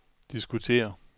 diskutere